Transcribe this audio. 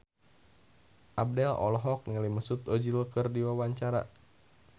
Abdel olohok ningali Mesut Ozil keur diwawancara